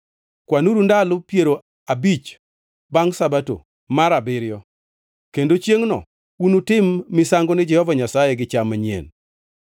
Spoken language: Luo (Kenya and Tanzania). Kwanuru ndalo piero abich bangʼ Sabato mar abiriyo, kendo chiengʼno unutim misango ni Jehova Nyasaye gi cham manyien.